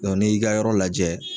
Dɔn n'i y'i ka yɔrɔ lajɛ.